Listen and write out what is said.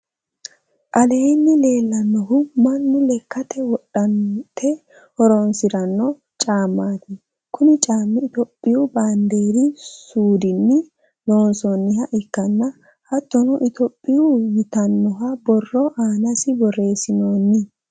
aleenni lellannohu mannu lekkate wodhate horoonsiranno caamati. kuni caami itopiyu baanderi suudinni loonsonniha ikkanna hattonni itopiya yitananno borro aanasi borreessinoonni.